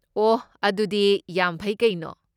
ꯑꯣꯍ, ꯑꯗꯨꯗꯤ ꯌꯥꯝ ꯐꯩ ꯀꯩꯅꯣ!